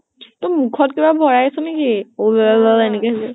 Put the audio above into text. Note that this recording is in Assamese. তৈ মুখত কিবা ভৰাইছʼ নেকি? উৱা উৱা এনেকে